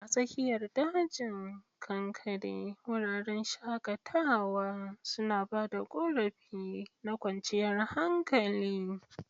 A tsakiyar dajin kankare, wuraren shakatawa suna ba da ƙorafi na kwanciyar hankali.